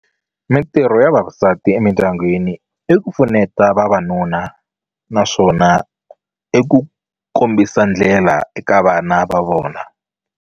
Mitirho ya vavasati emindyangwini i ku pfuneta vavanuna naswona i ku kombisa ndlela eka vana va vona.